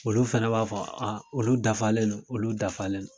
Olu fɛnɛ b'a fɔ a olu dafalen do olu dafalen do